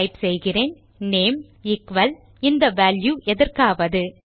type செய்கிறேன் name equal இந்த value எதற்காவது